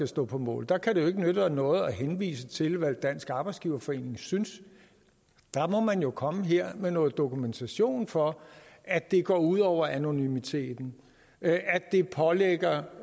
stå på mål der kan det jo ikke nytte noget at henvise til hvad dansk arbejdsgiverforening synes der må man jo komme her med noget dokumentation for at det går ud over anonymiteten at det pålægger